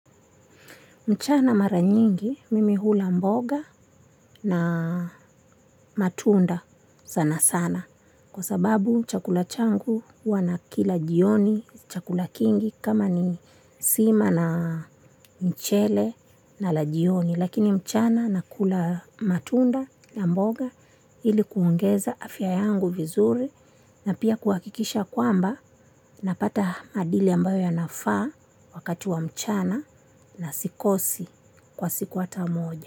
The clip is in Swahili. Mchana mara nyingi mimi hula mboga na matunda sana sana kwa sababu chakula changu huwanakila jioni chakula kingi kama ni sima na mchele na la jioni. Lakini mchana na kula matunda na mboga ilikuongeza afya yangu vizuri na pia kuahakikisha kwamba na pata madili ambayo yanafaa wakati wa mchana na sikosi kwa siku hatamoja.